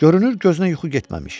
Görünür, gözünə yuxu getməmiş.